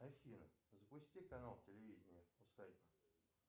афина запусти канал телевидение